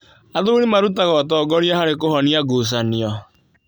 Athuri marutaga ũtongoria harĩ kũhonia ngucanio.